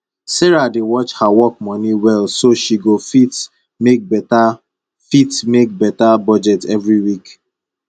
sarah dey watch her work moni well so she go fit make beta fit make beta budget every week